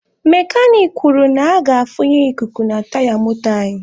Mekanik kwuru na a ga-afunye ikuku na taya moto anyị.